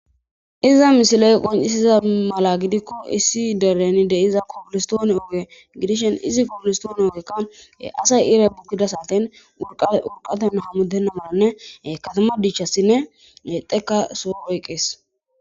iza misiley qoncisiza mala giddikko issi dereni de'iza kobillistoone ooge gidishin izi kobillistoone ogekka asay iray bukidda satten urqqay urqaten hamuttena malanne kattama diichchassinne tsoqqa soo oyqqees